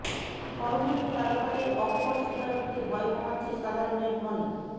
corona নিয়ে তারকাদের অকপট স্বীকারোক্তি ভয় কমাচ্ছে সাধারণের মনে